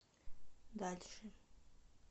дальше